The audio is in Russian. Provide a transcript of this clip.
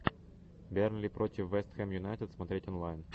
бернли против вест хэм юнайтед смотреть онлайн